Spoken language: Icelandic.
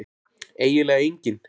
eiginlega enginn